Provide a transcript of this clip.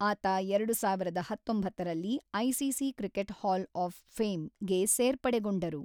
ಆತ ಎರಡು ಸಾವಿರದ ಹತೊಂಬತ್ತರಲ್ಲಿ ಐಸಿಸಿ ಕ್ರಿಕೆಟ್ ಹಾಲ್ ಆಫ್ ಫೇಮ್‌ಗೆ ಸೇರ್ಪಡೆಗೊಂಡರು.